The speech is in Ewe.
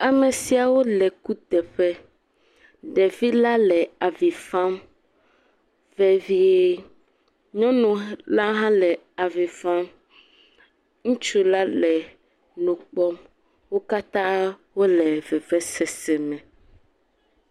Amesiawo le kuteƒe ɖevi la le avifam vevie nyɔnu la ha le avifam ŋutsu la le nukpɔm wo katã wole vevesese me